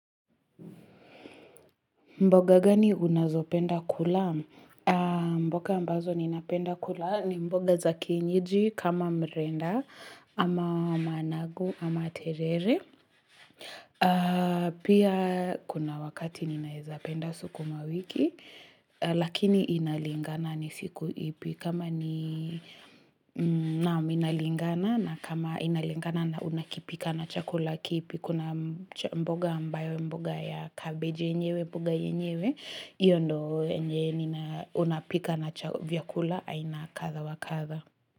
Mboga gani unazopenda kula? Mboga ambazo ninapenda kula ni mboga zakienyeji kama mrenda ama managu ama terere. Pia kuna wakati ninaezapenda sukumawiki lakini inalingana ni siku ipi kama ni naam inalingana na kama inalingana na unakipika na chakula kipi. Kuna mboga ambayo mboga ya kabeji yenyewe mboga yenyewe iyo ndo yenye nina unapika na vyakula aina katha wa katha.